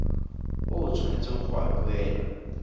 o tshwanetseng go a duela